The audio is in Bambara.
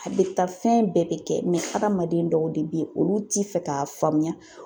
A' bɛ taa fɛn bɛɛ bɛ kɛ hadamaden dɔw de bɛ ye olu ti fɛ k'a faamuya